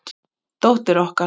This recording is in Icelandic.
Dóttir okkar?